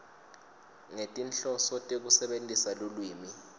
ngetinhloso tekusebentisa lulwimi